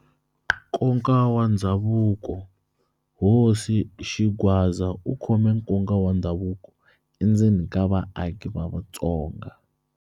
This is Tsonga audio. Nkoka wa Ndhavuko-Hosi Xingwadza u khome nkoka wa ndhavuko endzeni ka vaaki va Vatsonga.